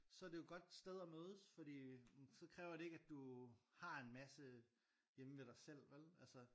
Så er det jo et godt sted at mødes fordi så kræver det ikke at du har en masse hjemme ved dig selv vel altså